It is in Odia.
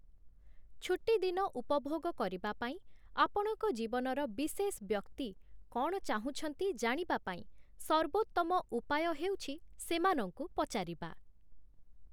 ଛୁଟିଦିନ ଉପଭୋଗ କରିବା ପାଇଁ ଆପଣଙ୍କ ଜୀବନର ବିଶେଷ ବ୍ୟକ୍ତି କ’ଣ ଚାହୁଁଛନ୍ତି ଜାଣିବା ପାଇଁ ସର୍ବୋତ୍ତମ ଉପାୟ ହେଉଛି ତାଙ୍କୁ ପଚାରିବା